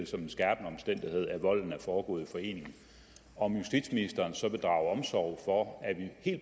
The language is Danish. som en skærpende omstændighed at volden er foregået i forening om justitsministeren så vil drage omsorg for at vi i